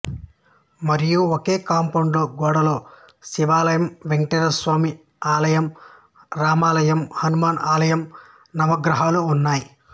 మరియు ఒకే కూపౌండ్ గోడలో శివాలయం వెంకటేశ్వర స్వామి ఆలయం రామ ఆలయం హనుమాన్ ఆలయం నవగ్రహాలు ఉన్నాయి